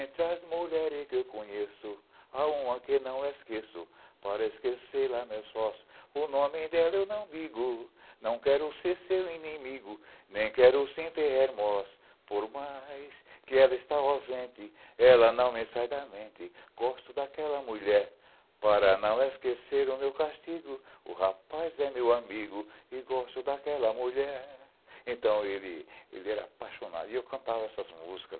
*Entre as mulheres que eu conheço Há uma que não esqueço Para esquecê-la meus fós O nome dela eu não digo Não quero ser seu inimigo Nem quero se enterrarmos Por mais que ela está ausente Ela não me sai da mente Gosto daquela mulher Para não esquecer o meu castigo O rapaz é meu amigo E gosto daquela mulher Então ele era apaixonado e eu cantava essas músicas